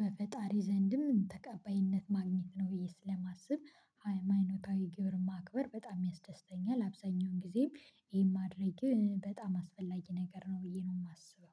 በፈጣሪ ዘንድም ተቀባይነት ማግኘት ነው። ብዬ ስለማስብ ሃይማኖታዊ ግብር ማክበር በጣም ያስደስተኛል። አብዛኛውን ጊዜም ይሄን ማድረግ በጣም አስፈላጊ ነገር ነው ብዬ ነው የማስበው